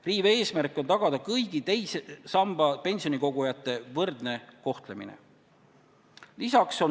Riive eesmärk on tagada kõigi teise samba pensionikogujate võrdne kohtlemine.